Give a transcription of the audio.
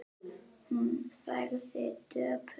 Hún þagði döpur.